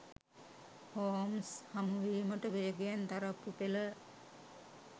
Holmes හමුවීමට වේගයෙන් තරප්පු පෙළ